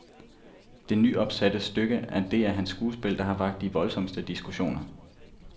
Det nyopsatte stykke er det af hans skuespil, der har vakt de voldsomste diskussioner.